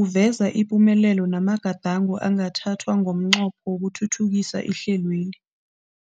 uveza ipumelelo namagadango angathathwa ngomnqopho wokuthuthukisa ihlelweli.